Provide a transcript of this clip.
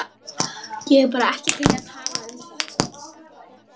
Ég er bara ekki til í að tala um þetta.